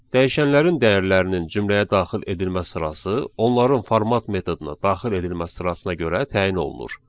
Dəyişənlərin dəyərlərinin cümləyə daxil edilmə sırası onların format metoduna daxil edilmə sırasına görə təyin olunur.